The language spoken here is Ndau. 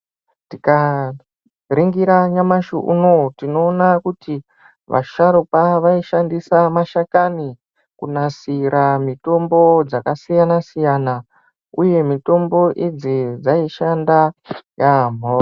Tikaringira nyamashi unowu tinoona kuti vasharukwa vaishandise mashakani kunasira mitombo dzakasiyana-siyana, uye mitombo idzi dzaishanda yaambho.